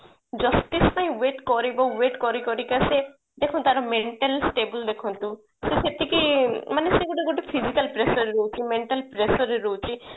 justice ପାଇଁ wait କରିବ wait କରି କରିକା ସେ ଦେଖନ୍ତୁ ତାର mental stable ଦେଖନ୍ତୁ ତ ସେତିକି ମାନେ ସେ ଗୋଟେ ଗୋଟେ physical pressure ରେ ରହୁଛି mental pressure ରହୁଛି